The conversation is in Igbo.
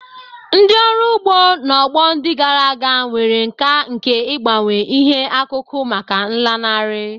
Ndị ọrụ ugbo, n'ọgbọ ndị gara aga, nwere nkà nke ịgbanwe ihe akụkụ maka nlanarị.